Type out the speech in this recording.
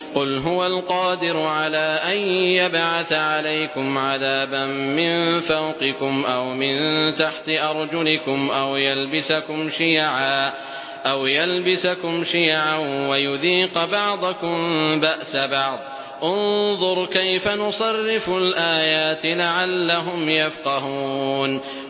قُلْ هُوَ الْقَادِرُ عَلَىٰ أَن يَبْعَثَ عَلَيْكُمْ عَذَابًا مِّن فَوْقِكُمْ أَوْ مِن تَحْتِ أَرْجُلِكُمْ أَوْ يَلْبِسَكُمْ شِيَعًا وَيُذِيقَ بَعْضَكُم بَأْسَ بَعْضٍ ۗ انظُرْ كَيْفَ نُصَرِّفُ الْآيَاتِ لَعَلَّهُمْ يَفْقَهُونَ